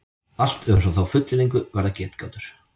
Allt umfram þá fullyrðingu verða getgátur.